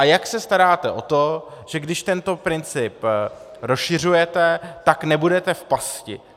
A jak se staráte o to, že když tento princip rozšiřujete, tak nebudete v pasti?